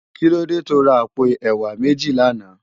Kilódé tó rá àpó èwá méji làná?